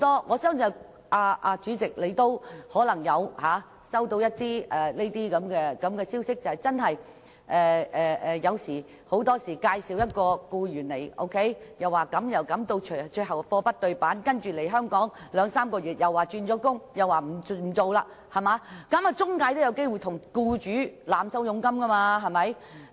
我相信主席也可能曾接獲這類投訴，就是很多時候職業介紹所向僱主介紹外傭時說有百般好，最終卻"貨不對辦"，外傭來港兩三個月後便說要轉工等，令職業介紹所有機會向僱主濫收佣金。